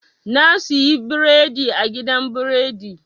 Na suyi biredi a gidan biredi.